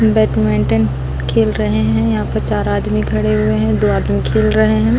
Badminton खेल रहे है यहाँ पर चार आदमी खड़े हुए हुए है दो आदमी खेल रहे है।